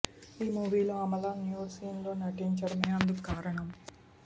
ఈ మూవీలో Amala nude scene లో నటించడమే అందుకు కారణం